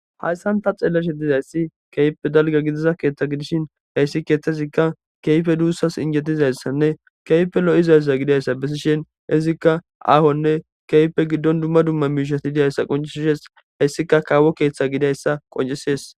hayssanta xeelleshe dizayssi keype dalga gidiza keeththa gidishin heyssi keethtezikka keyfe duussas injetizayssanne keype lo7izayssa gidayssa bessishen izikka aahonne keype giddon dumma dumma miishati didyayssa qoncisishes heyssika kaawo keeththa gidayssa qoncisees